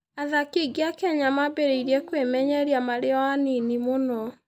Athaki aingĩ a Kenya mambĩrĩria kwĩmenyeria marĩ o anini mũno.